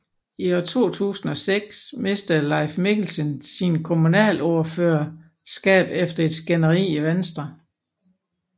I 2006 mistede Leif Mikkelsen sit kommunalordførerskab efter et skænderi i Venstre